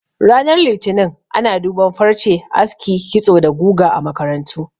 Ranar Litinin ana duban farce, aski, kitso da guga a makarantu